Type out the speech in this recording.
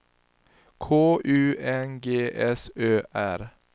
K U N G S Ö R